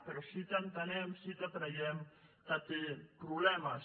però sí que entenem sí que creiem que té problemes